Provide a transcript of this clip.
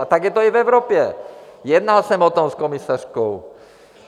A tak je to i v Evropě, jednal jsem o tom s komisařkou.